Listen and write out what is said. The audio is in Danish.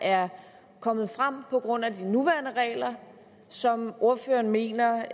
er kommet frem på grund af de nuværende regler og som ordføreren mener